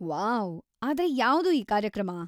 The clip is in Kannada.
ವಾವ್!‌ ಆದ್ರೆ ಯಾವ್ದು ಈ ಕಾರ್ಯಕ್ರಮ?